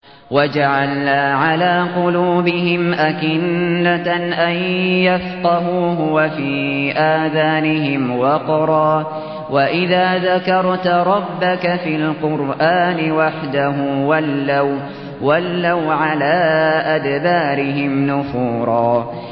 وَجَعَلْنَا عَلَىٰ قُلُوبِهِمْ أَكِنَّةً أَن يَفْقَهُوهُ وَفِي آذَانِهِمْ وَقْرًا ۚ وَإِذَا ذَكَرْتَ رَبَّكَ فِي الْقُرْآنِ وَحْدَهُ وَلَّوْا عَلَىٰ أَدْبَارِهِمْ نُفُورًا